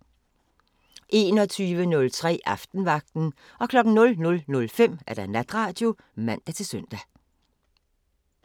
21:03: Aftenvagten 00:05: Natradio (man-søn)